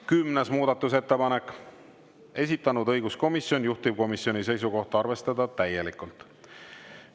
10. muudatusettepanek, esitanud õiguskomisjon, juhtivkomisjoni seisukoht on arvestada täielikult.